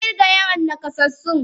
Ka kirga yawan nakasassun.!